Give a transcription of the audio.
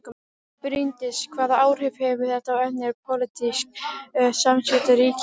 Bryndís: Hvaða áhrif hefur þetta á önnur pólitísk samskipti ríkjanna?